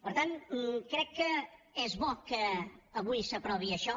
per tant crec que és bo que avui s’aprovi això